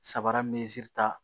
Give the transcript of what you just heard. Sabara ta